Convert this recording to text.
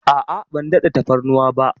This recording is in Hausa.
A'a, ban daɗa tafarnuwa ba.